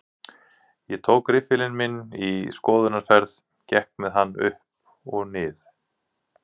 Ég tók riffilinn minn í skoðunarferð, gekk með hann upp og nið